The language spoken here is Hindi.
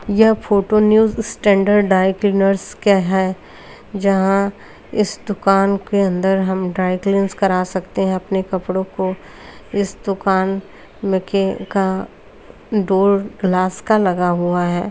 यह फोटो न्यू स्टैण्डर्ड ड्राईक्लीनर्स का है जहाँ इस दुकान के अंदर हम ड्राईक्लीनस करा सकते हैं अपने कपड़ो को इस दुकान में के का डोर ग्लास का लगा हुआ है।